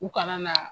U kana na